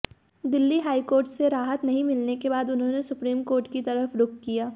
Delhi high court से राहत नहीं मिलने के बाद उन्होंने सुप्रीम कोर्ट की तरफ रुख किया